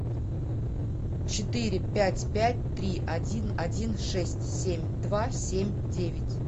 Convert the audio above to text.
четыре пять пять три один один шесть семь два семь девять